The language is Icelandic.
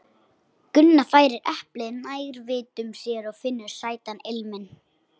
Gunna færir eplið nær vitum sér og finnur sætan ilminn.